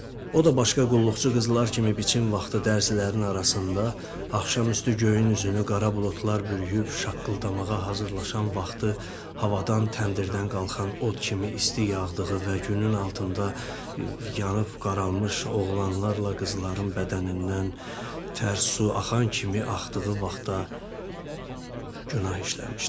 O da başqa qulluqçu qızlar kimi biçin vaxtı dərzilərin arasında, axşam üstü göyün üzünü qara buludlar bürüyüb şaqqıldamağa hazırlaşan vaxtı, havadan təndirdən qalxan od kimi isti yağdığı və günün altında yanıb qaralmış oğlanlarla qızların bədənindən tərs su axan kimi axdığı vaxtda günah işləmişdi.